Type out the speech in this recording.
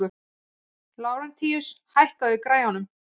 Lárentíus, hækkaðu í græjunum.